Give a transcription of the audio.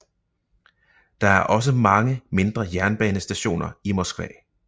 Der er også mange mindre jernbanestationer i Moskva